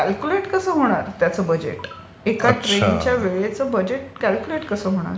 So calculate कसे होणार त्याचं बजेट? एका ट्रेनच्या वेळेचं बजेट क्याल्क्युलेट कसे होणार?